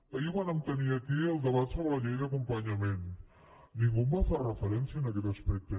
ahir vàrem tenir aquí el debat sobre la llei d’acompanyament ningú va fer referència a aquest aspecte